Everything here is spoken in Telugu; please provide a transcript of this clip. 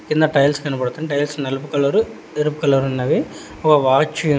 కింద టైల్స్ కనబడుతున్నాయి టైల్స్ నలుపు కలరు ఎరుపు కలరు ఉన్నవి ఒక వాచ్ --